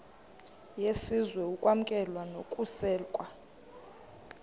yesizwe ukwamkelwa nokusekwa